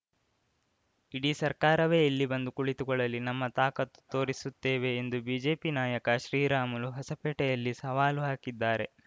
ಇಡೀ ಸರ್ಕಾರವೇ ಇಲ್ಲಿ ಬಂದು ಕುಳಿತುಕೊಳ್ಳಲಿ ನಮ್ಮ ತಾಕತ್ತು ತೋರಿಸುತ್ತೇವೆ ಎಂದು ಬಿಜೆಪಿ ನಾಯಕ ಶ್ರೀರಾಮುಲು ಹೊಸಪೇಟೆಯಲ್ಲಿ ಸವಾಲು ಹಾಕಿದ್ದಾರೆ